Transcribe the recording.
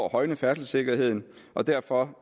at højne færdselssikkerheden og derfor